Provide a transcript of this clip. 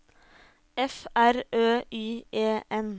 F R Ø Y E N